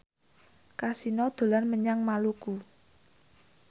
Kasino dolan menyang Maluku